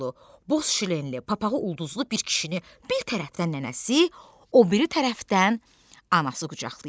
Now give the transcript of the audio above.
Boz şinli papağı ulduzlu bir kişini bir tərəfdən nənəsi, o biri tərəfdən anası qucaqlayıb.